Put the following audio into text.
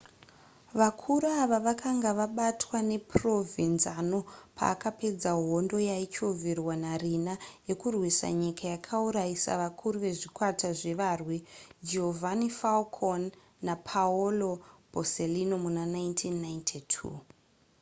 vakuru ava vakanga vabatwa naprovenzano paakapedza hondo yaichovherwa nariina yekurwisa nyika yakauraisa vakuru vezvikwata zvevarwi giovanni falcone napaolo borsellino muna 1992